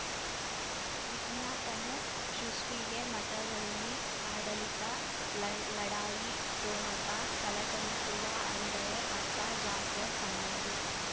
ವಿಜ್ಞಾಪನೆ ಸೃಷ್ಟಿಗೆ ಮಠದಲ್ಲಿ ಆಡಳಿತ ಲ ಲಢಾಯಿ ಠೊಣಪ ಥಳಥಳಿಸುವ ಅಂದರೆ ಅಪ್ಪ ಜಾಫರ್ ಸಂಬಂಧಿ